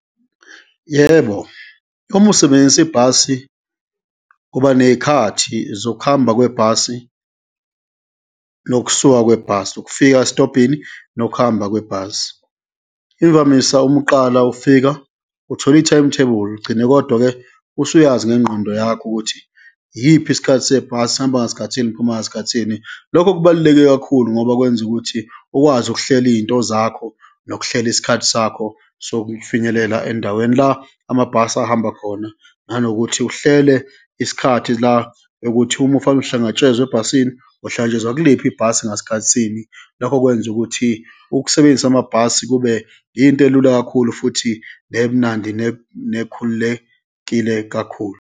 Yebo, uma usebenzisa ibhasi kuba neyikhathi zokuhamba kwebhasi nokusuka kwebhasi, ukufika esitobhini nokuhamba kwebhasi. Imvamisa uma uqala ufika, uthola i-timetable, ugcine kodwa-ke usuyazi ngengqondo yakho ukuthi iyiphi isikhathi sebhasi, sihamba ngasikhathini, siphuma ngasikhathini. Lokho kubaluleke kakhulu ngoba kwenza ukuthi ukwazi ukuhlela iyinto zakho, nokuhlela isikhathi sakho sokufinyelela endaweni la amabhasi ahamba khona, nanokuthi uhlele isikhathi la ekuthi uma ufane uhlangatshezwe ebhasini, uhlangatshezwa kuliphi ibhasi, ngasikhathi sini. Lokho kwenza ukuthi ukusebenzisa amabhasi kube into elula kakhulu futhi nemnandi nekhululekile kakhulu.